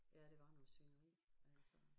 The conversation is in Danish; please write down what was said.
Ja det var noget svineri altså